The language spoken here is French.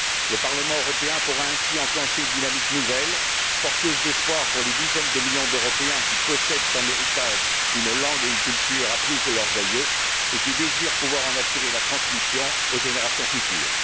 Le Parlement européen pourra ainsi enclencher une dynamique nouvelle, porteuse d'espoir pour les dizaines de millions d'Européens qui possèdent en héritage une langue et une culture apprises de leurs aïeux et qui désirent pouvoir en assurer la transmission aux générations futures.